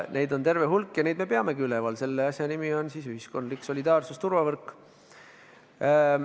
Neid on terve hulk ja neid me peamegi üleval, selle asja nimi on ühiskondlik solidaarsusturvavõrk.